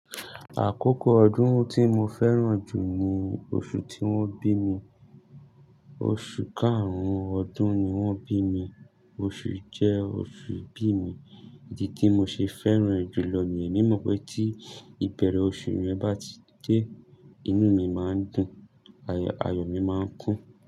Àkókò ọdún tí mo fẹ́ràn jù ni oṣù tí wọ́n bí mi. Oṣù karùn-ún ọdún ni wọ́n bí mi. Oṣù jẹ oṣù ìbí mi, ìdí tí mo ṣe fẹ́ràn è jùlọ ni èmi mọ̀ pé tí ìbẹ̀rẹ̀ oṣù rẹ bá ti dé, inú mi máa ń dùn, ayọ̀ mi máa ń kún.